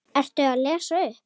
Ertu að lesa upp?